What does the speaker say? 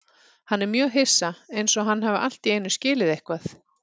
Hann er mjög hissa, einsog hann hafi allt í einu skilið eitthvað.